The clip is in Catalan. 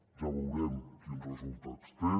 ja veurem quins resultats té